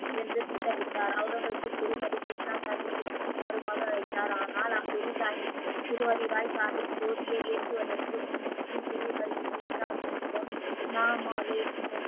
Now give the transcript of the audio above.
என்று திட்டமிட்டார் அவுரங்கஜிப் குரு ஹரி கிருஷ்ணா சாஹிப்பை வருமாறு அழைத்தார் ஆனால் குரு சாகிப் குரு ஹரிராய் சாகிப் ஜோதியை ஏற்றுவதற்கு முன் ஸ்ரீ குரு ஹரி கிருஷ்ணா ஜி இடம் ,